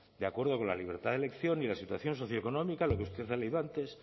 de acuerdo con la libertad de elección y la situación socioeconómica lo que usted ha leído antes